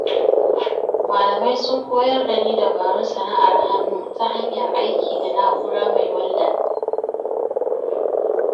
Malamai sun koyar da ni dabarun sana’ar hannu ta hanyar aiki da na’ura mai walda.